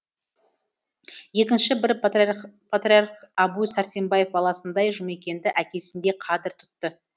екінші бір патриарх әбу сәрсенбаев баласындай жұмекенді әкесіндей қадір тұтты